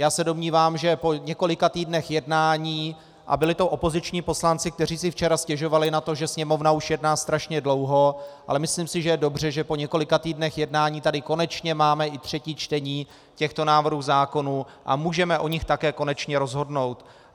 Já se domnívám, že po několika týdnech jednání, a byli to opoziční poslanci, kteří si včera stěžovali na to, že Sněmovna už jedná strašně dlouho, ale myslím si, že je dobře, že po několika týdnech jednání tady konečně máme i třetí čtení těchto návrhů zákonů a můžeme o nich také konečně rozhodnout.